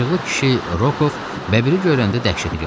Acıqlı kişi, Rokov, bəbiri görəndə dəhşətə gəldi.